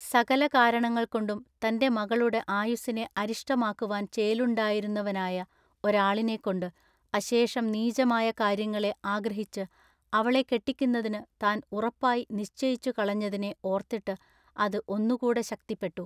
സകല കാരണങ്ങൾ കൊണ്ടും തൻ്റെ മകളുടെ ആയുസ്സിനെ അരിഷ്ടമാക്കുവാൻ ചേലുണ്ടായിരുന്നുവനായ ഒരാളിനെക്കൊണ്ടു അശേഷം നീചമായ കാര്യങ്ങളെ ആഗ്രഹിച്ചു അവളെ കെട്ടിക്കുന്നതിനു താൻ ഉറപ്പായി നിശ്ചയിച്ചു കളഞ്ഞതിനെ ഓർത്തിട്ട് അതു ഒന്നു കൂടെ ശക്തിപ്പെട്ടു.